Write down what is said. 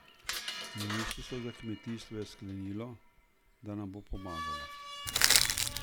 Ministrstvo za kmetijstvo je sklenilo, da nam bo pomagalo.